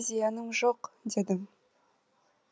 зияным жоқ едім